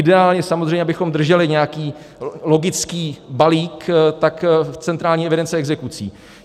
Ideálně samozřejmě, abychom drželi nějaký logický balík, tak v centrální evidenci exekucí.